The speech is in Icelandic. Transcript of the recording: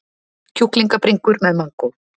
Kjúklingabringur með mangó